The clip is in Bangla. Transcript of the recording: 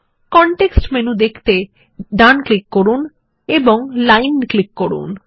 কনটেক্সট মেনু দেখতে ডান ক্লিক করুন এবং লাইন ক্লিক করুন